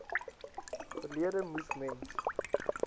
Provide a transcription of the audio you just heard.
verlede moes mens